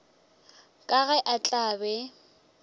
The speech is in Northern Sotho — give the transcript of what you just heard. ka ge a tla be